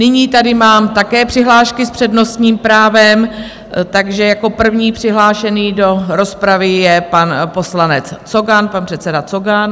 Nyní tady mám také přihlášky s přednostním právem, takže jako první přihlášený do rozpravy je pan poslanec Cogan, pan předseda Cogan.